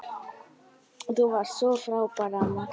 Þú varst svo frábær amma.